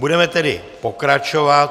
Budeme tedy pokračovat.